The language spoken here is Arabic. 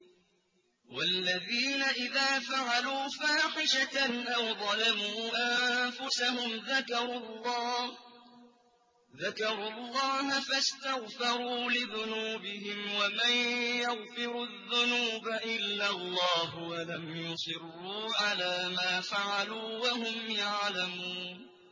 وَالَّذِينَ إِذَا فَعَلُوا فَاحِشَةً أَوْ ظَلَمُوا أَنفُسَهُمْ ذَكَرُوا اللَّهَ فَاسْتَغْفَرُوا لِذُنُوبِهِمْ وَمَن يَغْفِرُ الذُّنُوبَ إِلَّا اللَّهُ وَلَمْ يُصِرُّوا عَلَىٰ مَا فَعَلُوا وَهُمْ يَعْلَمُونَ